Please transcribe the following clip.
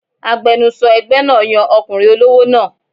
Agbẹnusọ ẹgbẹ́ náà yan ọkùnrin olówó náà